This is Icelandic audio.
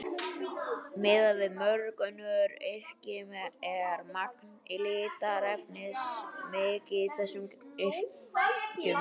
Miðað við mörg önnur yrki er magn litarefnis mikið í þessum yrkjum.